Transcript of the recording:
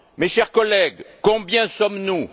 Chers collègues, combien sommes nous?